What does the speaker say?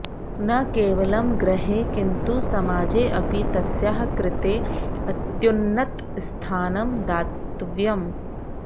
न केवलं गृहे किन्तु समाजेऽपि तस्याः कृते अत्युन्नतस्थानं दातव्यम्